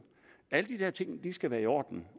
alle de der ting skal være i orden